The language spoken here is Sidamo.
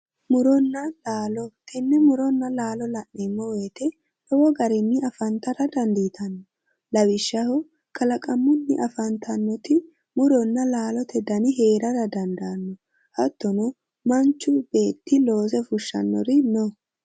Muronna laalo, tenne muronna laalo la'neemmo woyiite lowo garinni afantara dandiitanno lawishshaho kalaqmunni afantannoti muronna laalote dani heerara dandaanno. hattono manchu beetti loose fushshannori no.